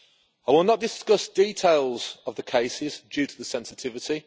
I will not discuss details of the cases due to the sensitivity.